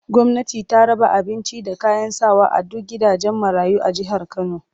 Gwamnati ta raba abincin da kayan sawa a duk gidajen marayu na jihar Kano